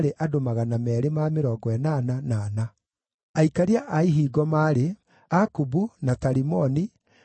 Aikaria a ihingo maarĩ: Akubu, na Talimoni, na andũ a thiritũ yao, arĩa maarangagĩra ihingo, maarĩ andũ 172.